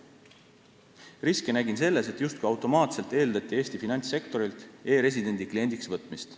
Riski näen selles, et justkui automaatselt eeldati Eesti finantssektorilt e-residendi kliendiks võtmist.